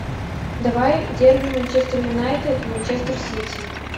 давай дерби манчестер юнайтед манчестер сити